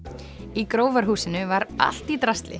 í var allt í drasli